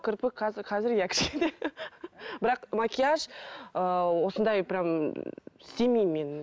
кірпік қазір қазір иә кішкене бірақ макияж ыыы осындай прямо істемеймін мен